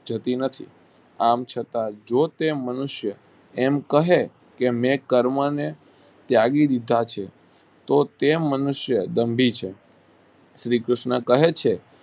જતી નથી આમ છતાં જે કઈ મનુષ્યો આમ કહે મેં કર્મ ને ત્યાગી દીધા છે તે કેમ મનુષ્યો બાંધી છે શ્રી કૃષ્ણ કહે છે.